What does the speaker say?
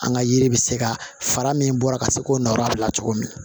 An ka yiri bɛ se ka fara min bɔra ka se k'o nɔ bila cogo min